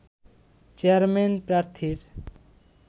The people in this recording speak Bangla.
চেয়ারম্যান প্রার্থীর